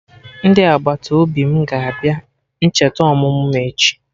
Ndị agbataobi m ga-abịa ncheta ọmụmụ m echi